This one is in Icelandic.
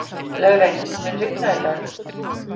Laugey, mun rigna í dag?